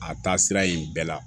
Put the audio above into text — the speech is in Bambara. A taa sira in bɛɛ la